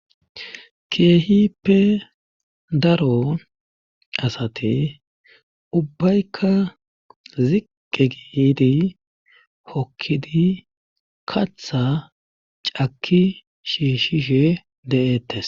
keehippe daro asate ubbaykka ziqqe gidi hokkidi katha cakki shiishishe de7ettes